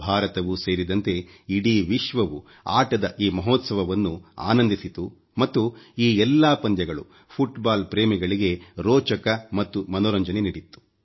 ಭಾರತವೂ ಸೇರಿದಂತೆ ಇಡೀ ವಿಶ್ವವು ಆಟದ ಈ ಮಹೋತ್ಸವವನ್ನು ಆನಂದಿಸಿತುಮತ್ತು ಈ ಎಲ್ಲಾ ಪಂದ್ಯಗಳು ಫುಟ್ ಬಾಲ್ ಪ್ರೇಮಿಗಳಿಗೆ ರೋಚಕ ಮತ್ತು ಮನೋರಂಜನೆ ನೀಡಿತ್ತು